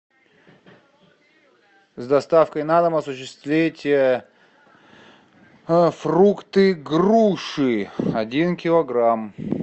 с доставкой на дом осуществить фрукты груши один килограмм